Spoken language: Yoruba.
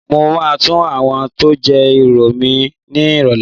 Mo máa tọ àwọn tó jẹ́ ìrọ̀ mi lọ nírọ̀lẹ́